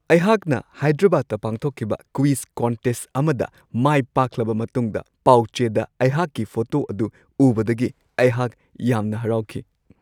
ꯑꯩꯍꯥꯛꯅ ꯍꯥꯏꯗ꯭ꯔꯕꯥꯗꯇ ꯄꯥꯡꯊꯣꯛꯈꯤꯕ ꯀ꯭ꯋꯤꯖ ꯀꯟꯇꯦꯁꯠ ꯑꯃꯗ ꯃꯥꯏ ꯄꯥꯛꯂꯕ ꯃꯇꯨꯡꯗ ꯄꯥꯎꯆꯦꯗ ꯑꯩꯍꯥꯛꯀꯤ ꯐꯣꯇꯣ ꯑꯗꯨ ꯎꯕꯗꯒꯤ ꯑꯩꯍꯥꯛ ꯌꯥꯝꯅ ꯍꯔꯥꯎꯈꯤ ꯫